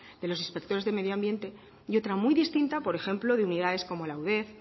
de los inspectores de medio ambiente y otra muy distinta por ejemplo de unidades como la udef